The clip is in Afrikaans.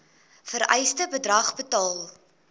vereiste bedrag betaal